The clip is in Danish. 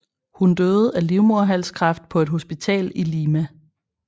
Hun døde af livmoderhalskræft på et hospital i Lima